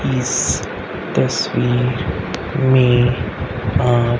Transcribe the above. इस तस्वीर मे आप--